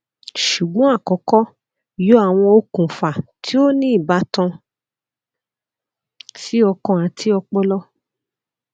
ṣugbọn akọkọ yọ awọn okunfa ti o ni ibatan si ọkan ati ọpọlọ